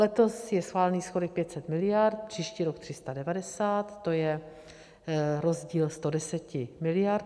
Letos je schválený schodek 500 miliard, příští rok 390, to je rozdíl 110 miliard.